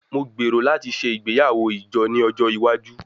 Mo gbero lati ṣe igbeyawo ijo ni ojo iwaju